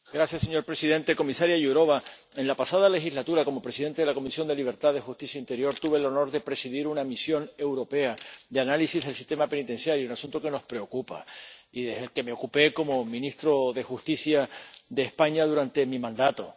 Señor presidente, comisaria Jourová, en la pasada legislatura, como presidente de la Comisión de Libertades, Justicia e Interior, tuve el honor de presidir una misión europea de análisis del sistema penitenciario, el asunto que nos preocupa y del que me ocupé como ministro de Justicia de España durante mi mandato.